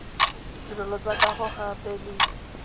ditirelo tsa kago gape le